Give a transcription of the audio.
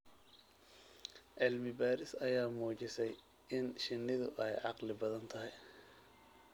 Cilmi baaris ayaa muujisay in shinnidu ay caqli badan tahay.